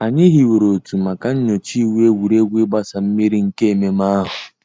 Ànyị̀ hìwèrè òtù mà nyòchàá ìwù ègwè́ré́gwụ̀ ị̀gbàsa mmìrì nke mmẹ̀mmẹ̀ àhụ̀.